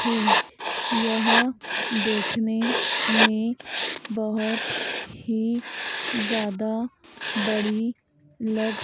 हैं यह देखने में बहोत ही ज़्यादा बड़ी लग --